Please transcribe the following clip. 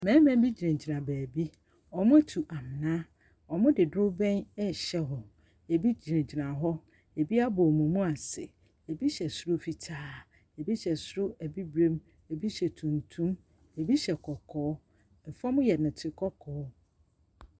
Mmarima bi gyinagyina baabi. Wɔatu amena. Wɔde dorobɛn rehyɛ hɔ. Ɛbi gyinagyina hɔ, ɛbi abɔ wɔn mu ase. Ɛbu hyɛ soro fitaa, ɛbi hyɛ soro bibire, bi hyɛ tuntum, bi hyɛ kɔkɔɔ. Fam yɛ dɔte kɔkɔɔ.